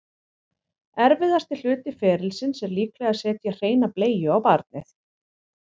erfiðasti hluti ferlisins er líklega að setja hreina bleiu á barnið